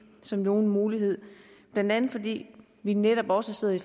som nogen mulighed blandt andet fordi vi netop også sidder i